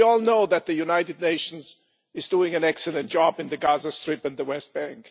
We all know that the United Nations is doing an excellent job in the Gaza Strip and the West Bank.